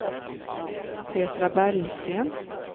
Petra Bergsten